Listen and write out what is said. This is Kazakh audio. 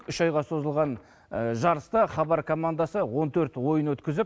үш айға созылған жарыста хабар командасы он төрт ойын өткізіп